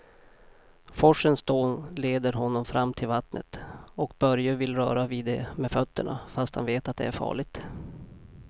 Forsens dån leder honom fram till vattnet och Börje vill röra vid det med fötterna, fast han vet att det är farligt.